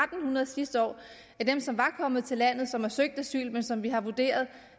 hundrede sidste år af dem som var kommet til landet som havde søgt asyl men som vi har vurderet